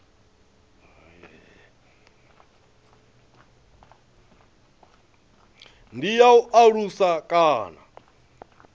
ndi ya u alusa kana